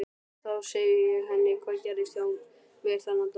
Þá segi ég henni hvað gerðist hjá mér þennan dag.